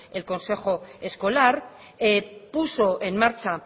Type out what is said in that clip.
el consejo escolar puso en marcha